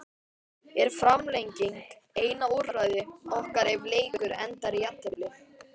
Er framlenging eina úrræði okkar ef leikur endar í jafntefli?